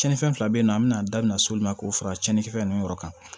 Cɛnnifɛn bɛ yen nɔ an bɛna an da s'olu ma k'o fara cɛninfɛn ninnu yɔrɔ kan